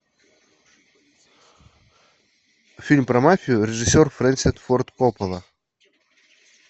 фильм про мафию режиссер фрэнсис форд коппола